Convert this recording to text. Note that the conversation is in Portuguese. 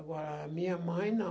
Agora, a minha mãe, não.